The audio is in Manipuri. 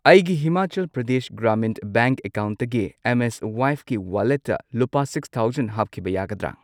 ꯑꯩꯒꯤ ꯍꯤꯃꯥꯆꯜ ꯄ꯭ꯔꯗꯦꯁ ꯒ꯭ꯔꯥꯃꯤꯟ ꯕꯦꯡꯛ ꯑꯦꯀꯥꯎꯟꯠꯇꯒꯤ ꯑꯦꯝ ꯑꯦꯁ ꯋꯥꯏꯞꯀꯤ ꯋꯥꯂꯦꯠꯇ ꯂꯨꯄꯥ ꯁꯤꯛꯁ ꯊꯥꯎꯖꯟ ꯍꯥꯞꯈꯤꯕ ꯌꯥꯒꯗ꯭ꯔ?